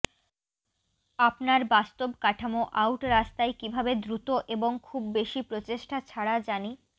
আপনার বাস্তব কাঠামো আউট রাস্তায় কিভাবে দ্রুত এবং খুব বেশি প্রচেষ্টা ছাড়া জানি